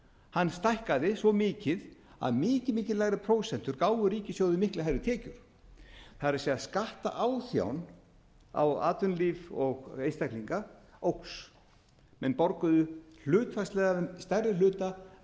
hann stækkaði svo mikið að mikið mikið lægri prósentur gáfu ríkissjóði miklu hærri tekjur það er skattaáþján á atvinnulíf og einstaklinga óx menn borguðu hlutfallslega stærri hluta